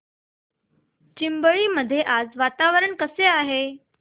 चिंबळी मध्ये आज वातावरण कसे आहे